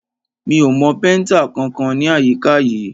Mi ò mọ péntà kankan ní àyíká yìí.